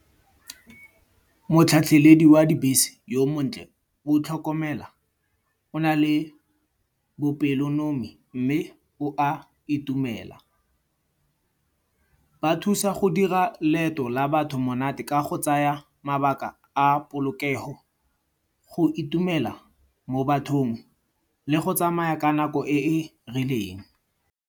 Motlhatlheledi wa dibese yo montle, o tlhokomela, o na le bopelonomi mme o a itumela. Ba thusa go dira leeto la batho monate ka go tsaya mabaka a polokego. Go itumela mo bathong le go tsamaya ka nako e e rileng.